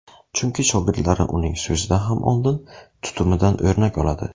Chunki shogirdlari uning so‘zidan ham oldin, tutumidan o‘rnak oladi.